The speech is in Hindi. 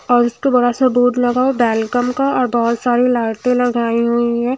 और इसको बड़ा सा बोर्ड लगा है वेलकम का और बहुत सारे लाइट लगाए हुए हैं।